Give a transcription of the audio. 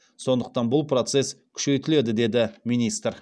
сондықтан бұл процесс күшейтіледі деді министр